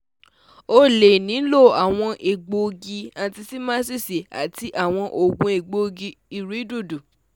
O le nilo awọn egboogi, antihistamines ati awọn oogun egboogi-irẹdodo